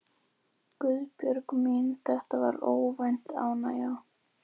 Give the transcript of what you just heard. Guðbjörg mín, þetta var óvænt ánægja.